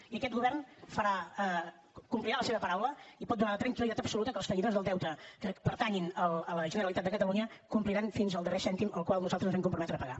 i aquest govern complirà la seva paraula i pot donar la tranquil·litat absoluta que els tenidors del deute que pertanyin a la generalitat de catalunya compliran fins al darrer cèntim al qual nosaltres ens vam comprometre a pagar